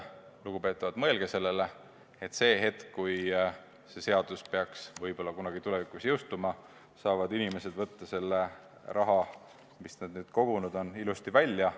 Lugupeetavad, mõelge sellele, et kui see seadus peaks kunagi jõustuma, siis võivad inimesed selle raha, mis nad kogunud on, välja võtta.